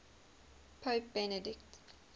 pope benedict